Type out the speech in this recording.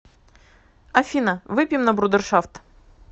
афина выпьем на брудершафт